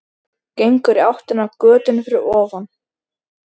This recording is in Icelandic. Gengur í áttina að götunni fyrir ofan.